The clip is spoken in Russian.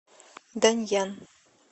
даньян